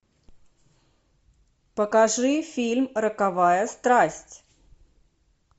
покажи фильм роковая страсть